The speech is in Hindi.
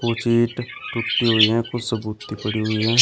कुछ ईंट टूटी हुई हैं कुछ सबूती पड़ी हुई हैं।